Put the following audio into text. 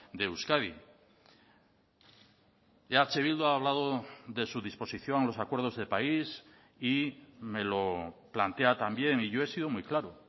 de euskadi eh bildu ha hablado de su disposición a los acuerdos de país y me lo plantea también y yo he sido muy claro